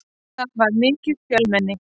Það var mikið fjölmenni.